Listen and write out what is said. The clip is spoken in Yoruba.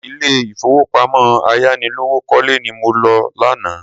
Ilé ìfowópamọ́ ayánilówókọ́lẹ́ ni mo lọ lánàá.